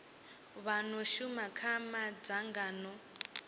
vha no shuma kha madzangano